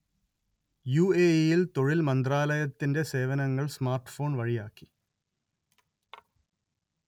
യു_letter എ_letter ഇ_letter യില്‍ തൊഴില്‍ മന്ത്രാലയത്തിന്റെ സേവനങ്ങള്‍ സ്മാര്‍ട്ട് ഫോണ്‍ വഴിയാക്കി